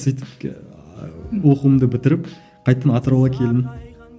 сөйтіп ыыы оқуымды бітіріп қайтадан атырауға келдім